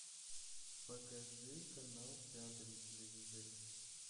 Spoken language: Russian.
покажи канал пятый на телевизоре